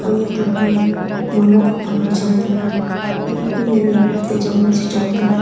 khanyak lo ye mon mok pa kochong tega khaunyak kau ni ani la ate jonge che chong tega.